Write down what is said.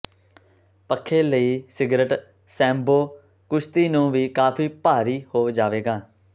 ਪੱਖੇ ਲਈ cigarette sambo ਕੁਸ਼ਤੀ ਨੂੰ ਵੀ ਕਾਫ਼ੀ ਭਾਰੀ ਹੋ ਜਾਵੇਗਾ